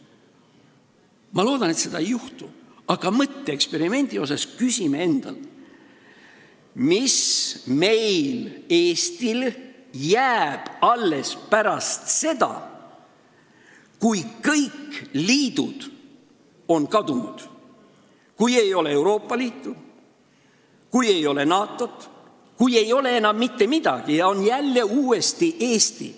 Ma loodan, et seda ei juhtu, aga mõtteeksperimendi korras võiksime küsida endalt, mis meile, Eestile, jääb alles pärast seda, kui kõik liidud on kadunud, kui ei ole Euroopa Liitu, kui ei ole NATO-t, kui ei ole enam mitte midagi ja on jälle uuesti Eesti.